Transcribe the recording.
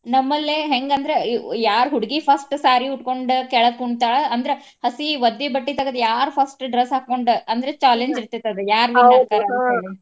ನಮ್ಮ್ ಲ್ಲೇ ಹೆಂಗ ಅಂದ್ರ ಈಗ ಯಾರ ಹುಡ್ಗಿ first saree ಉಟ್ಕೊಂಡ ಕೆಳಗ್ ಕುಂಡ್ತಾಳ ಅಂದ್ರ ಹಸಿ ಒದ್ದೆ ಬಟ್ಟಿ ತಗ್ದ ಯಾರ್ first dress ಹಾಕ್ಕೊಂಡ ಅಂದ್ರೆ challenge ಇರ್ತೆತಿ ಅದ ಯಾರ win ಆಕ್ಕಾರ ಅಂತ ಹೇಳಿ.